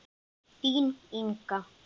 Þín, Inga.